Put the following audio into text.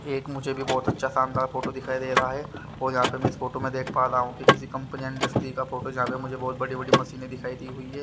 एक मुझे भी बहोत अच्छा शानदार फोटो दिखाई दे रहा है और यहां पे मैं इस फोटो में देख पा रहा हूं कि किसी कंपनी इंडस्ट्री का फोटो जहां मुझे बहोत बड़ी बड़ी मशीनें दिखाई दी हुई है।